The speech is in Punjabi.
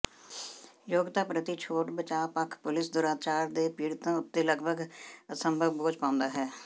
ਯੋਗਤਾ ਪ੍ਰਤੀ ਛੋਟ ਬਚਾਅ ਪੱਖ ਪੁਲਿਸ ਦੁਰਾਚਾਰ ਦੇ ਪੀੜਤਾਂ ਉੱਤੇ ਲਗਭਗ ਅਸੰਭਵ ਬੋਝ ਪਾਉਂਦਾ ਹੈ